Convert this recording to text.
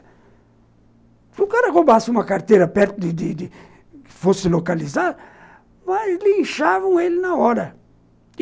Se o cara roubasse uma carteira perto de de que fosse localizada, mas linchavam ele na hora.